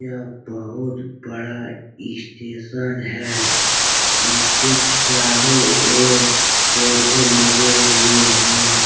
यह बहुत बड़ा इस स्टेशन है। इसके चारो और पौधे लगे हुए है।